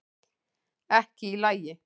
Ekki í lagi